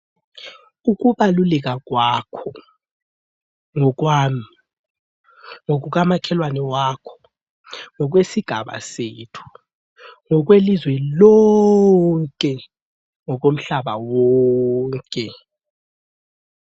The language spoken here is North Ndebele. Ukubaluleka kwakho ngokwami, ngokukamakhelwane wakho, ngokwesigaba sethu, ngokwelizwe lonke, ngokomhlaba wonke.